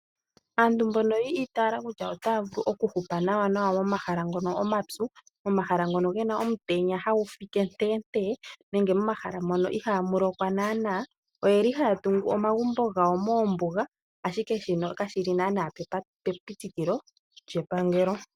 Aantu mbono yi itaala naanaa kutya otaya vulu okuhupa momahala ngono omapyu, momahala ngono ge na omutenya hagu fike nteentee nenge momahala mono ihaamu lokwa naanaa, oye li haya tungu omagumbo gawo moombuga, ashike shino kashi li naanaa pepitikilo lyepangelo.